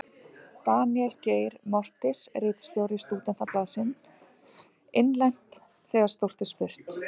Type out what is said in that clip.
Daníel Geir Moritz, ritstjóri Stúdentablaðsins: Innlent: Þegar stórt er spurt.